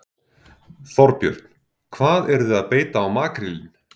Þorbjörn: Hvað eruð þið að beita á makrílinn?